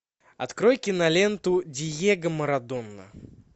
открой киноленту диего марадона